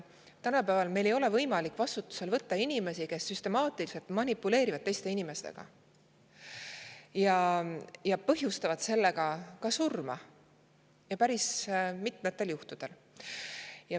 Tänapäeval ei ole meil võimalik vastutusele võtta inimesi, kes süstemaatiliselt manipuleerivad teiste inimestega ja põhjustavad sellega ka surma, päris mitmel juhul.